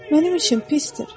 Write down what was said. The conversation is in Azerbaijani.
Mənim işim pisdir.